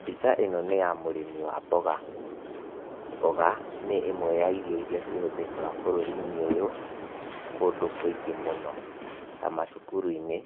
Mbica ĩno nĩ ya mũrĩmi wa mboga, mboga nĩ ĩmwe ya irio iria cihũthĩkaga bũrũri-inĩ ũyũ kũndũ kũingĩ mũno ta macukuru-inĩ,